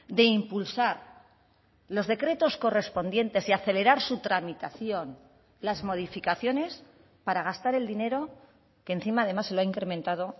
de impulsar los decretos correspondientes y acelerar su tramitación las modificaciones para gastar el dinero que encima además se lo ha incrementado